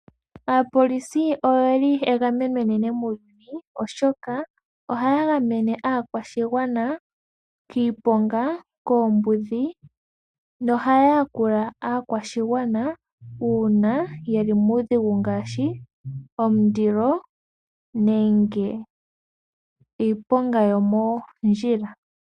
Aapolisi oye li egameno enene muuyuni, oshoka ohaa gamene aakwashigwana kiipoonga, koombudhi no haa yakula aakwashigwana, uuna ye li muudhigu, ngaashi omundilo nenge iiponga yomoondjila.